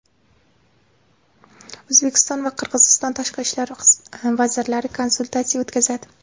O‘zbekiston va Qirg‘iziston tashqi ishlar vazirlari konsultatsiya o‘tkazadi.